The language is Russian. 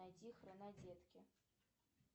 найди хронодетки